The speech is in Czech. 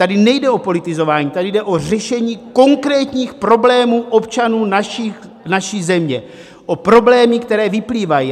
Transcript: Tady nejde o politizování, tady jde o řešení konkrétních problémů občanů naší země, o problémy, které vyplývají.